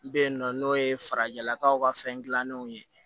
Bɛ yen nɔ n'o ye farajɛlakaw ka fɛn dilannenw ye